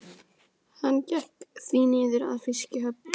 Hann gekk því niður að fiskihöfn.